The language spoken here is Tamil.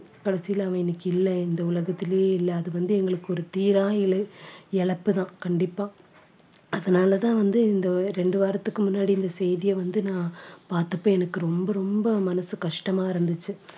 கடைசில அவன் இன்னைக்கு இல்ல இந்த உலகத்திலேயே இல்ல அது வந்து எங்களுக்கு ஒரு தீரா இழ~ இழப்பு தான் கண்டிப்பா அதனாலதான் வந்து இந்த ரெண்டு வாரத்துக்கு முன்னாடி இந்த செய்தியை வந்து நான் பார்த்தப்ப எனக்கு ரொம்ப ரொம்ப மனசு கஷ்டமா இருந்துச்சு